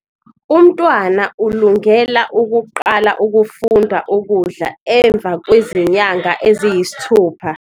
Umntwana ulungela ukuqala ukufunda ukudla emva kwezinyanga eziyisithupha.